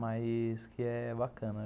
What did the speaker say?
Mas que é bacana.